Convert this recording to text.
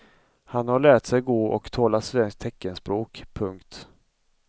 Han har lärt sig gå och tala svenskt teckenspråk. punkt